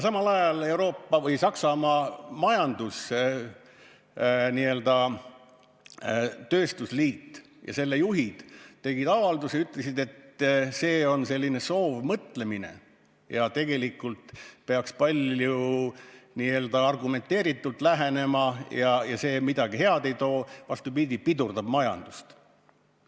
Samal ajal Saksamaa majandus, n-ö tööstusliit ja selle juhid tegid avalduse ja ütlesid, et see on selline soovmõtlemine ja tegelikult peaks palju argumenteeritumalt lähenema, ega see midagi head ei too, vaid vastupidi, pidurdab majandust.